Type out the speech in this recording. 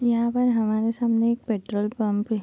यहाँ पर हमारे सामने एक पेट्रोल पंप है।